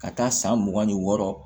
Ka taa san mugan ni wɔɔrɔ